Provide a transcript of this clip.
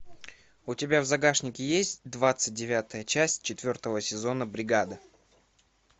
у тебя в загашнике есть двадцать девятая часть четвертого сезона бригада